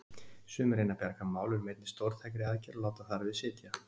Sumir reyna að bjarga málunum með einni stórtækri aðgerð og láta þar við sitja.